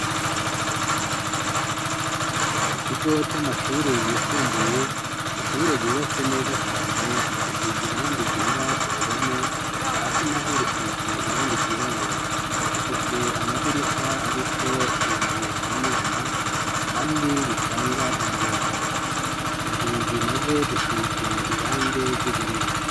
Ku kigo c'amashure yisumbuye ishure ryubatse neza cane risize irange igera ku ruhome, hasi naho risize irange ryirabura, rifise amadirisha ariko ibiyo bibonerana kandi bitanga umuyaga, inzugi na zo zisize irange ry'ubururu.